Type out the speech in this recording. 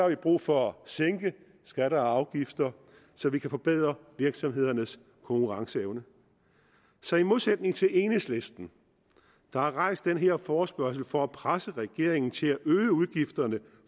vi brug for at sænke skatter og afgifter så vi kan forbedre virksomhedernes konkurrenceevne så i modsætning til enhedslisten der har rejst den her forespørgsel for at presse regeringen til at øge udgifterne